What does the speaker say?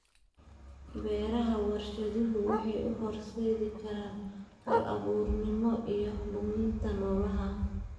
Beeraha warshaduhu waxay u horseedi karaan hal-abuurnimo iyo luminta noolaha.